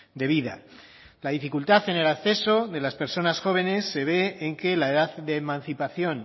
de vida la dificultad en el acceso de las personas jóvenes se ve en que la edad de emancipación